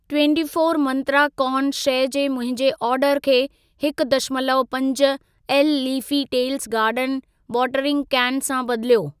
Twenty four Mantra corn शइ जे मुंहिंजे ऑडर खे हिकु दशमलव पंज L leafy tails garden watering कैनु सां बदिलियो।